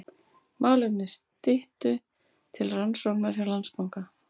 Málefni Styttu til rannsóknar hjá Landsbanka